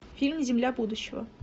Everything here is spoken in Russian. фильм земля будущего